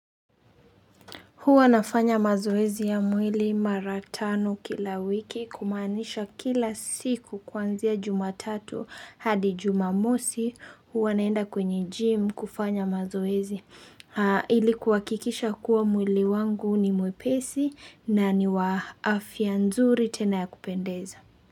Huwa nafanya mazoezi ya mwili mara tano kila wiki kumanisha kila siku kwanzia jumatatu hadi jumamosi huwa naenda kwenye gym kufanya mazoezi. Ili kuhakikisha kuwa mwili wangu ni mwepesi na ni wa afya nzuri tena ya kupendeza.